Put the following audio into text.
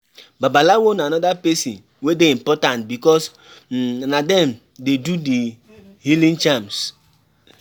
Babalawo na anoda person wey dey important because um na dem dey do the healing charms